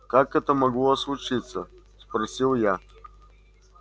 как это могло случиться спросил я